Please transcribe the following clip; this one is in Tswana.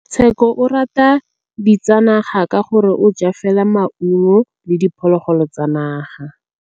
Tshekô o rata ditsanaga ka gore o ja fela maungo le diphologolo tsa naga.